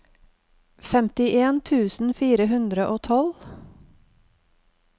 femtien tusen fire hundre og tolv